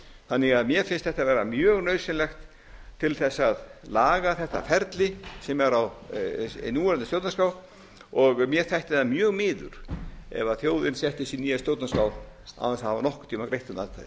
þannig að mér finnst þetta vera mjög nauðsynlegt til þess að laga þetta feli sem er á núverandi stjórnarskrá og mér þætti það mjög miður ef þjóðin setti sér nýja stjórnarskrá án þess að